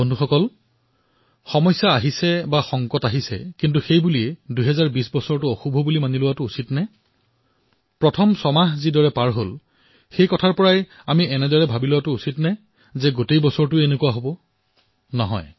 বন্ধুসকল সমস্যা আহে সংকট আহে কিন্তু প্ৰশ্ন এয়াই যে এই বিপদসমূহৰ বাবে আমি ২০২০ বৰ্ষটোক বেয়া বুলি কম নেকি প্ৰথম ছমাহটো যিদৰে গল তাৰ বাবে এয়া ভাবি লম নে যে গোটেই বৰ্ষটো বেয়া নহয়